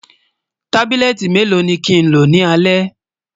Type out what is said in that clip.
tábìlìléti mélò ní kín ló ní alè?